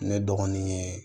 Ne dɔgɔnin ye